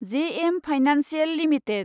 JM financial limited